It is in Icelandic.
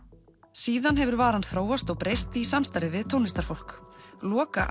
síðan hefur varan þróast og breyst í samstarfi við tónlistarfólk